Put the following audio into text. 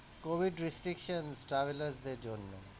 covid restrictions travelers দের জন্য।